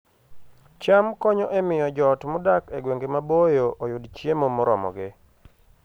cham konyo e miyo joot modak e gwenge maboyo oyud chiemo moromogi